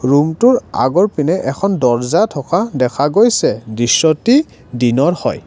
ৰুমটোৰ আগৰপিনে এখন দৰ্জা থকা দেখা গৈছে দৃশ্যটি দিনৰ হয়।